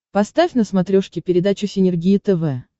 поставь на смотрешке передачу синергия тв